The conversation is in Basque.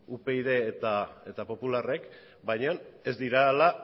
upyd eta popularrek baina ez dira hala